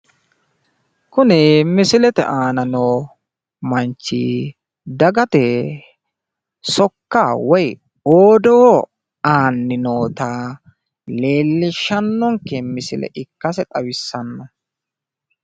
Kuni misilete aana noo manchi dagate sokka woyi odoo aanni noota leellishshannonke misile ikkase xawissanno.